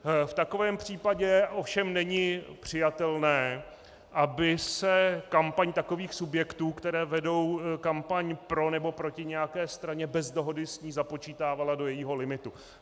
V takovém případě ovšem není přijatelné, aby se kampaň takových subjektů, které vedou kampaň pro nebo proti nějaké straně bez dohody s ní, započítávala do jejího limitu.